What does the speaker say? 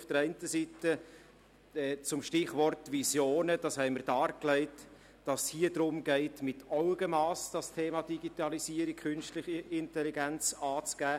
Zum Stichwort «Visionen» haben wir dargelegt, dass es darum geht, das Thema künstliche Intelligenz und Digitalisierung mit Augenmass anzugehen.